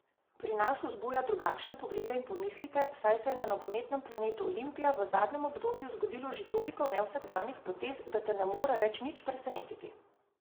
Pri nas vzbuja drugačne poglede in pomisleke, saj se je na nogometnem planetu Olimpija v zadnjem obdobju zgodilo že toliko nevsakdanjih potez, da te ne more več nič presenetiti.